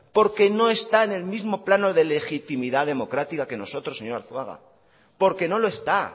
porque no está en el mismo plano de legitimidad democrática que nosotros señor arzuaga porque no lo está